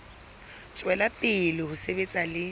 tswela pele ho sebetsa le